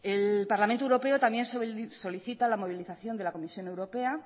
el parlamento europeo también solicita la movilización de la comisión europea